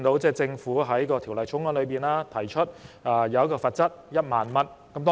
政府在《條例草案》提出罰則為1萬元。